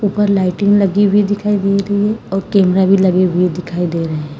ऊपर लाइटिंग भी लगी हुई दिखाई दे रही है कैमरा भी लगे हुए दिखाई दे रहे है।